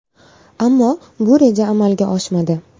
Ammo bu reja amalga oshmadi.